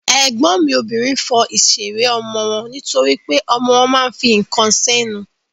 Ègbọ́n mi obìnrin fọ ìṣeré ọmọ wọn nítorípé ọmọ wọn ma ń fi ǹkan sẹ́nu.